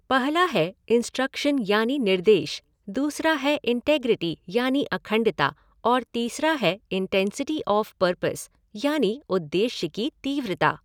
पहला है इंस्ट्रक्शन यानी निर्देश, दूसरा है इंटेग्रिटी यानी अखंडता और तीसरा है इंटेंसिटी ऑफ़ परपज़ यानी उद्देश्य की तीव्रता।